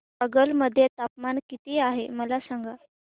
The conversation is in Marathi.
कागल मध्ये तापमान किती आहे मला सांगा